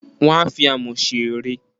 Wọ́n a fi Amọ̀ ṣe ère.